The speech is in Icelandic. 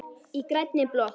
Í grænni blokk